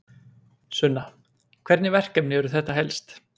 Sunna: Hvernig verkefni eru þetta helst?